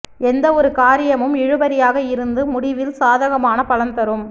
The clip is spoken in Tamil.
எந்த ஒரு காரியமும் இழுபறியாக இருந்து முடிவில் சாதகமான பலன்தரும்